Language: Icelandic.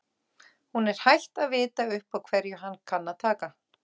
Hún er hætt að vita upp á hverju hann kann að taka.